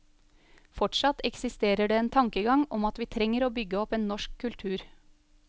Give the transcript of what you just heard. Fortsatt eksisterer det en tankegang om at vi trenger å bygge opp en norsk kultur.